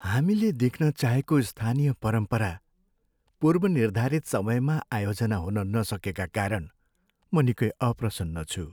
हामीले देख्न चाहेको स्थानीय परम्परा पूर्वनिर्धारित समयमा आयोजना हुन नसकेका कारण म निकै अप्रसन्न छु।